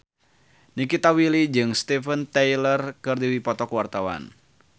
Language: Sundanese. Nikita Willy jeung Steven Tyler keur dipoto ku wartawan